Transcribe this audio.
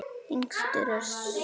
Yngstur er svo Helgi.